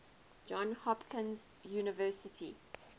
johns hopkins university